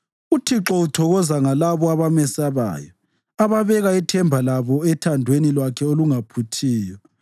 UThixo uthokoza ngalabo abamesabayo, ababeka ithemba labo ethandweni lwakhe olungaphuthiyo.